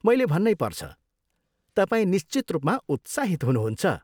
मैले भन्नै पर्छ, तपाईँ निश्चित रूपमा उत्साहित हुनुहुन्छ।